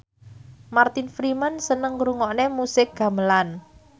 Martin Freeman seneng ngrungokne musik gamelan